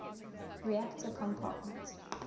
reactor compartment